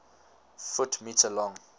ft m long